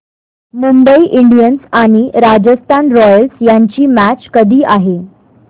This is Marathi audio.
मुंबई इंडियन्स आणि राजस्थान रॉयल्स यांची मॅच कधी आहे